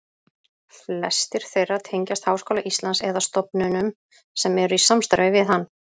Flestir þeirra tengjast Háskóla Íslands eða stofnunum sem eru í samstarfi við hann.